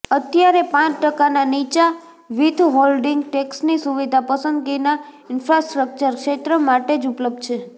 અત્યારે પાંચ ટકાના નીચા વિથહોલ્ડિંગ ટેક્સની સુવિધા પસંદગીના ઇન્ફ્રાસ્ટ્રક્ચર ક્ષેત્ર માટે જ ઉપલબ્ધ છે